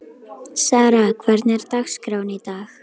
Sara, hvernig er dagskráin í dag?